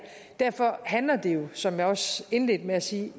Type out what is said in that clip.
derfor handler det jo som jeg også indledte med at sige